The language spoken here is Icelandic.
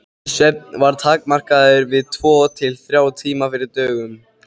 Svefn var takmarkaður við tvo til þrjá tíma fyrir dögun.